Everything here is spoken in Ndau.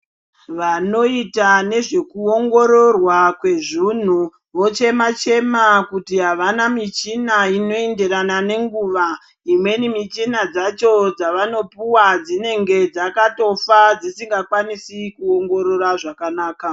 Vanoita nezvekuongororwa kwezvunhu, vochema-chema kuti havana michina inoenderana nenguva. Imweni michina dzacho dzavanopuwa dzinenge dzakatofa dzisingakwanisi kuongorora zvakanaka.